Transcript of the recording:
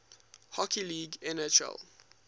hockey league nhl